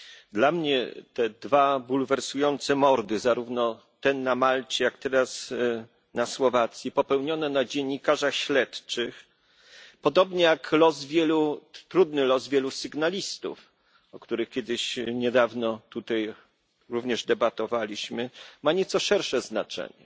Dla mnie te dwa bulwersujące mordy, zarówno ten na Malcie, jak teraz na Słowacji, popełnione na dziennikarzach śledczych, podobnie jak trudny los wielu sygnalistów, o których kiedyś, niedawno, również tutaj debatowaliśmy, mają nieco szersze znaczenie.